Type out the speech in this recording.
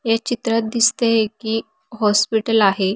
ह्या चित्रात दिसतय कि हॉस्पिटल आहे.